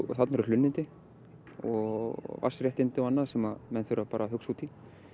þarna eru hlunnindi og vatnsréttindi og annað sem menn þurfa bara að hugsa út í